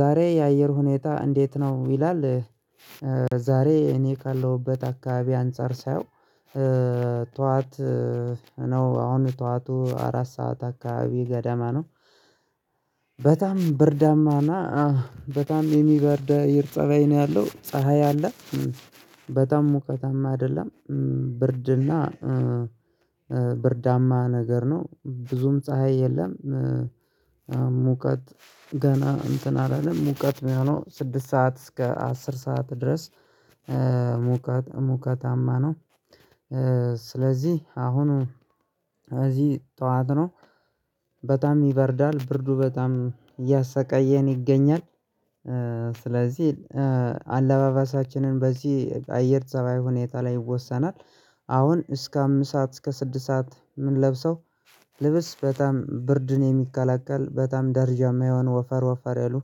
ዛሬ የአየር ሁኔታ እንዴት ነው ይላል? ዛሬ እኔ ካለሁበት አካባቢ አንፃር ሳየው ተዋት ነው አሁን ተዋቱ አራት ሰዓት አካባቢ ገደመ ነው። በጣም ብርዳማና በጣም የሚበርድ አየር ፀባይ ነው ያለው ፀሀይ አለ በጣም ሙቀታማ አይደለም። ብርድና ብርዳማ ነገር ነው ብዙም ፀሀይ የለም። ሙቀት ገና እንትን አላለም ሙቀት የሚሆነው ስድስት ሰዓት እስከ አስር ሰዓት ድረስ ሙቀት ሙቀታማ ነው። ስለዚህ አሁን እዚህ ጠዋት ነው በጣም ይበርዳል ብርዱ በጣም እያሰቀየን ይገኛል። ስለዚህ አለባበሳችንን በዚህ አየር ፀባይ ሁኔታ ላይ ይወሰናል። አሁን እስከ አምስት ሰዓት እስከ ስድስት ሰዓት ምን ለብሰው? ልብስ በጣም ብርድን የሚከላከል በጣም ደርጃማ የሆን ወፈር ወፈር ያሉ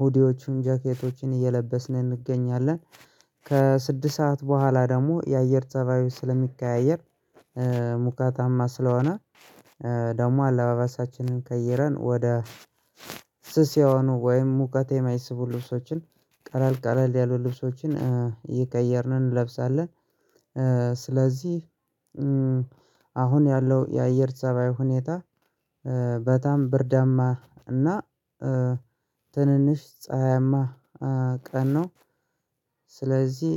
ሁዲዎቹን ጃኬቶችን እየለበስን እንገኛለን። ከስድስት ሰዓት በኋላ ደግሞ የአየር ፀባዩ ስለሚቀያየር ሙቀታማ ስለሆነ ደግሞ አለባበሳችንን ከይረን ወደ ስስ የሆኑ ወይም ሙቀት የማይስቡ ልብሶችን ቀላል ቀላል ያሉ ልብሶችን ይቀየርነ እንለብሳለን። ስለዚህ አሁን ያለው የአየር ፀባይ ሁኔታ በጣም ብርዳማ እና ትንንሽ ፀሀያማ ቀን ነው። ስለዚህ